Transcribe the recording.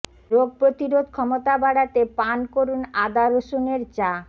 রোগ প্রতিরোধ ক্ষমতা বাড়াতে পান করুন আদা রসুনের চা